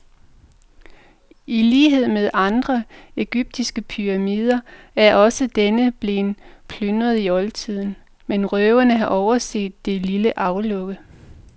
I lighed med andre egyptiske pyramider er også denne blevet plyndret i oldtiden, men røverne har overset det lille aflukke.